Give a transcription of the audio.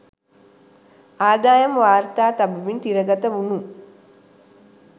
අදායම් වාර්තා තබමින් තිරගත වුනු